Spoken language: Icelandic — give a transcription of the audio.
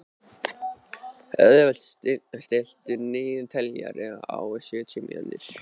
Auðkell, stilltu niðurteljara á sjötíu mínútur.